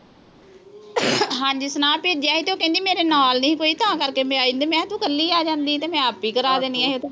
ਹਾਂ ਜੀ। ਸੁਨੇਹਾ ਭੇਜਿਆ ਸੀ। ਉਹ ਕਹਿੰਦੀ ਮੇਰੇ ਨਾਲ ਨੀਂ ਸੀ ਕੋਈ ਤਾਂ ਕਰਕੇ ਮੈਂ ਆਈ ਨੀਂ। ਮੈਂ ਕਿਹਾ ਤੂੰ ਕੱਲੀ ਆ ਜਾਂਦੀ ਤੇ ਮੈਂ ਆਪੇ ਹੀ ਕਰਾ ਦੇਣੀਆਂ ਸੀ।